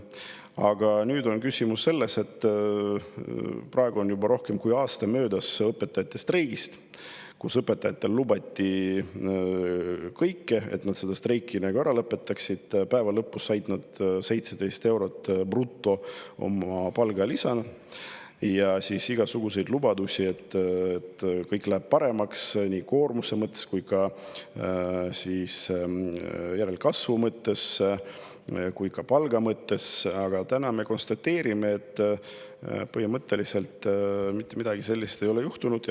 Aga küsimus on selles, et juba rohkem kui aasta on möödas õpetajate streigist, kus õpetajatele, selleks et nad streigi ära lõpetaksid, lubati kõike – lõpuks said nad palgalisaks 17 eurot brutos –, lubati, et kõik läheb paremaks koormuse mõttes, järelkasvu mõttes ja ka palga mõttes, aga täna me konstateerime, et mitte midagi sellist ei ole juhtunud.